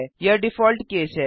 यह default case है